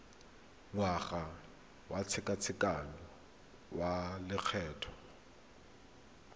ngwaga wa tshekatsheko ya lokgetho